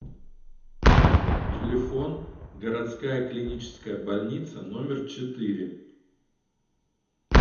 телефон городская клиническая больница номер четыре